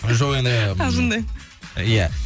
жоқ енді қалжыңдаймын иә